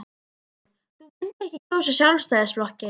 Hugrún: Þú myndir ekki kjósa Sjálfstæðisflokkinn?